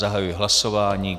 Zahajuji hlasování.